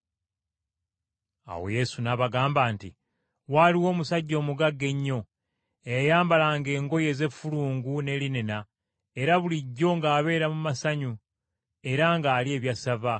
Awo Yesu n’abagamba nti, “Waaliwo omusajja omugagga ennyo, eyayambalanga engoye ez’effulungu ne linena era bulijjo ng’abeera mu masanyu era ng’alya ebyassava.